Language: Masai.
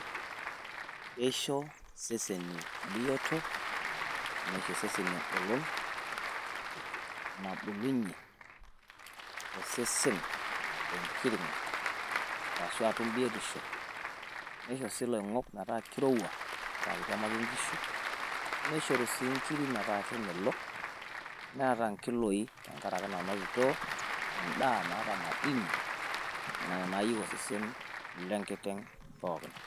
Keisho iseseni bioto neisho iseseni enkolon nabulunyie osesen enkiring'o arashuu atum bioto nisho sii iloing'ok metaa keirowua naa keitiamaki inkishu naa keishoru sii inkirik metaa kemelok naata inkiloi tenkaraki nanotito endaa naata madini nena naayieu osesen lenkiteng pookin.